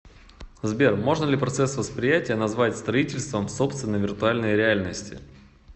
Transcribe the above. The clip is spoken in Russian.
сбер можно ли процесс восприятия назвать строительством собственной виртуальной реальности